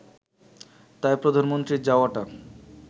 তাই প্রধানমন্ত্রীর যাওয়াটা